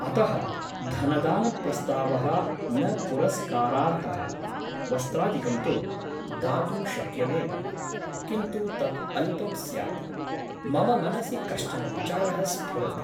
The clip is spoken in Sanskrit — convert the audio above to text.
अतः धनदानप्रस्तावः न पुरस्कारार्हः । वस्त्रादिकं तु दातुं शक्यमेव । किन्तु तत् अल्पं स्यात् । मम मनसि कश्चन विचारः स्फुरति ।